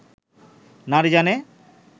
নারী জানে